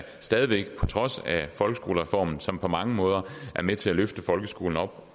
stadig væk på trods af folkeskolereformen som på mange måder er med til at løfte folkeskolen op